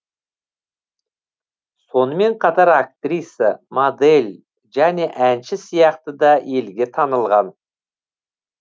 сонымен қатар актриса модель және әнші сияқты да елге танылған